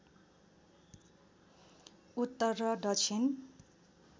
उत्तर र दक्षिण